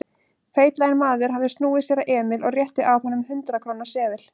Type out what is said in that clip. Feitlaginn maður hafði snúið sér að Emil og rétti að honum hundrað-króna seðil.